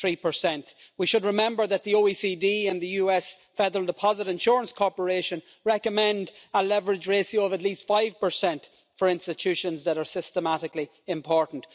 3. We should remember that the OECD and the US Federal Deposit Insurance Corporation recommend a leverage ratio of at least 5 for institutions that are systematically important.